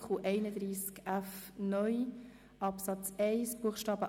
Art. 31f (neu) Abs. 1 Bst.